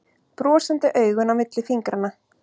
Brosandi augun á milli fingranna.